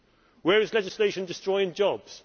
Where is legislation destroying jobs?